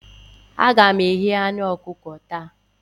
Aga m eghe anu ọkụkọ taa